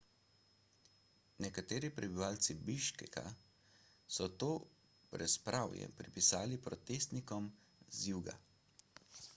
nekateri prebivalci biškeka so to brezpravje pripisali protestnikom z juga